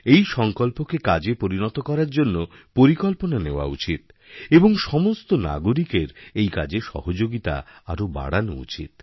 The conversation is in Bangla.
এইসংকল্পকে কাজে পরিণত করার জন্য পরিকল্পনা নেওয়া উচিত এবং সমস্ত নাগরিকের এই কাজেসহযোগিতা আরও বাড়ানো উচিত